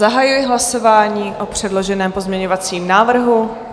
Zahajuji hlasování o předloženém pozměňovacím návrhu.